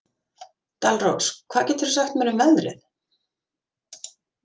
Dalrós, hvað geturðu sagt mér um veðrið?